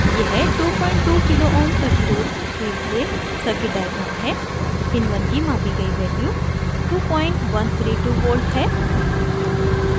यह 22k ω kilo ohms प्रतिरोध के लिए circuit diagram है in1 की मापी गई value 2132v है